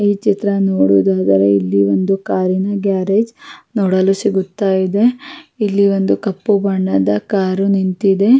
ಈ ಚಿತ್ರ ನೋಡುವುದಾದರೆ ಇಲ್ಲಿ ಒಂದು ಕಾರಿನ ಗ್ಯಾರೇಜ್ ನೋಡಲು ಸಿಗುತ್ತ ಇದೆ ಇಲ್ಲಿ ಒಂದು ಕಪ್ಪು ಬಣ್ಣದ ಕಾರ್ ನಿಂತಿದೆ.